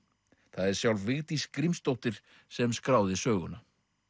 það er sjálf Vigdís Grímsdóttir sem skráði söguna